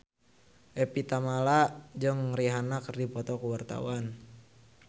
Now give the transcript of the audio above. Evie Tamala jeung Rihanna keur dipoto ku wartawan